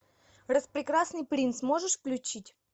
распрекрасный принц можешь включить